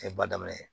A ye ba daminɛ